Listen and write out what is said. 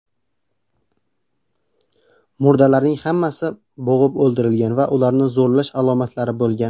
Murdalarning hammasi bo‘g‘ib o‘ldirilgan va ularni zo‘rlash alomatlari bo‘lgan.